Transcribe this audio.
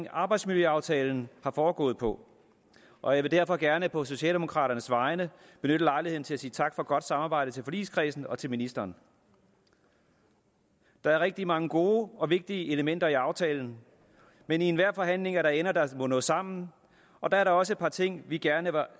arbejdsmiljøaftalen er foregået på og jeg vil derfor gerne på socialdemokraternes vegne benytte lejligheden til at sige tak for et godt samarbejde til forligskredsen og til ministeren der er rigtig mange gode og vigtige elementer i aftalen men i enhver forhandling er der ender der må nå sammen og der er da også et par ting vi gerne